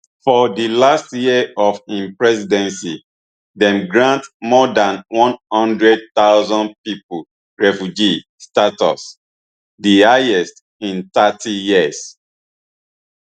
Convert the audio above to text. for di last year of im presidency dem grant more dan one hundred thousand pipo refugee status di highest in thirty years